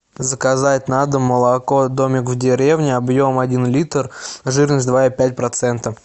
заказать на дом молоко домик в деревне объем один литр жирность два и пять процента